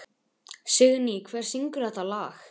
Signý, hver syngur þetta lag?